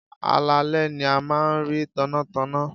Alaalẹ́ ni a máa ń rí tannátanná.